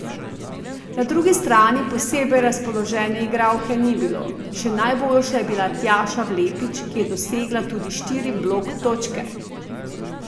Na drugi strani posebej razpoložene igralke ni bilo, še najboljša je bila Tjaša Vlepič, ki je dosegla tudi štiri blok točke.